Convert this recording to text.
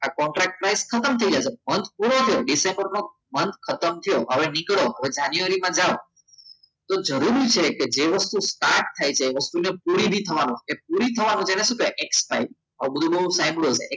આ contract scooter ડિસેમ્બરનો month ખતમ થયો હવે નીકળો હવે જાન્યુઆરીમાં જાવ તો જરૂરી છે કે જે વસ્તુ start થાય છે એવા પૂરી થવાનું થવાનું છે એટલે શું થાય expired